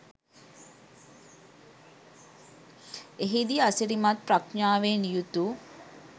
එහිදී අසිරිමත් ප්‍රඥාවෙන් යුතු